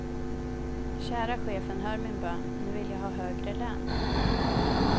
Kära chefen hör min bön, nu vill jag ha högre lön.